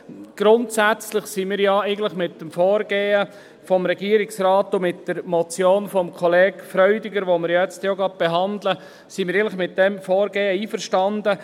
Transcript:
Grundsätzlich sind wir mit dem Vorgehen des Regierungsrates und mit der Motion von Kollege Freudiger , die wir auch gleich behandeln werden, einverstanden.